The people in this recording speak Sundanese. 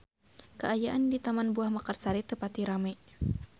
Kaayaan di Taman Buah Mekarsari teu pati rame